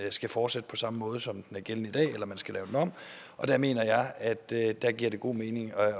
skal fortsætte på samme måde som i dag eller om man skal lave den om jeg mener at det giver god mening